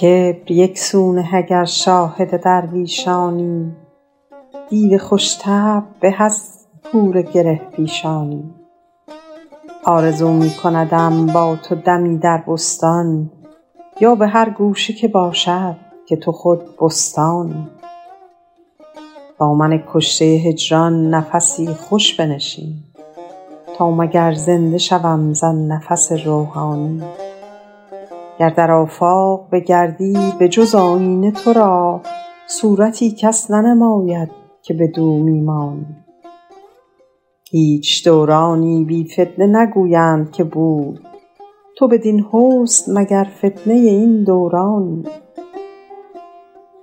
کبر یک سو نه اگر شاهد درویشانی دیو خوش طبع به از حور گره پیشانی آرزو می کندم با تو دمی در بستان یا به هر گوشه که باشد که تو خود بستانی با من کشته هجران نفسی خوش بنشین تا مگر زنده شوم زآن نفس روحانی گر در آفاق بگردی به جز آیینه تو را صورتی کس ننماید که بدو می مانی هیچ دورانی بی فتنه نگویند که بود تو بدین حسن مگر فتنه این دورانی